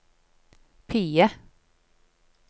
PIE